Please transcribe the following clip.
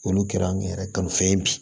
Olu kɛra an yɛrɛ ka fɛn ye bi